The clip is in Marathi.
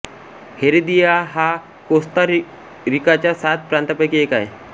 हेरेदिया हा कोस्ता रिकाच्या सात प्रांतांपैकी एक आहे